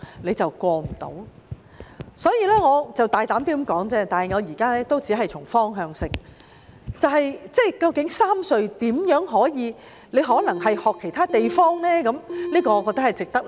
我只是大膽道出問題而已，我現在只是從方向提出建議，究竟三隧該如何處理，或可否學習其他地方的做法呢？